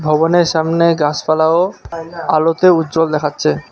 ভবনের সামনে গাছপালাও আলোতে উজ্জ্বল দেখাচ্ছে।